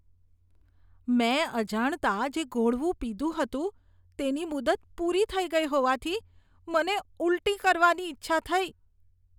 મેં અજાણતાં જે ઘોળવું પીધું હતું, તેની મુદત પૂરી થઈ ગઈ હોવાથી, મને ઉલટી થવાની ઈચ્છા થઈ.